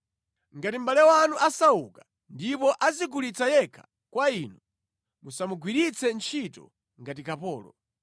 “ ‘Ngati mʼbale wanu asauka ndipo adzigulitsa yekha kwa inu, musamugwiritse ntchito ngati kapolo.